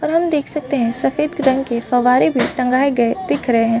और हम देख सकते है सफ़ेद रंग के फव्वारे भी टँगाए गए दिख रहै है।